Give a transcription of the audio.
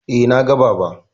Eh, na ga Baba.